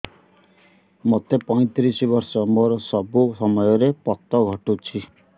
ମୋତେ ପଇଂତିରିଶ ବର୍ଷ ମୋର ସବୁ ସମୟରେ ପତ ଘଟୁଛି